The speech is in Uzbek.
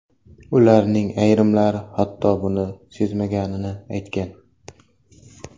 Ularning ayrimlari, hatto buni sezmaganini aytgan.